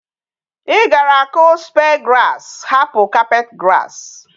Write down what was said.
I gara aku spear grass hapu carpet grass?